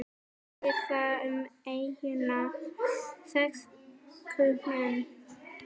Víða um eyjuna vex kúmen.